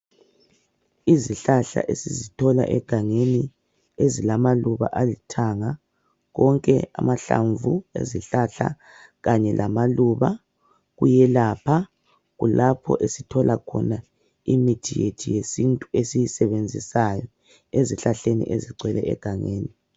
Izihlahla esizithola egangeni , ezilamaluba alithanga .Konke amahlamvu ezihlahla kanye lamaluba kuyelapha ,kulapho esithola khona imithi yethu yesintu esiyisebenzisayo .Ezihlahleni ezigcwele egangeni.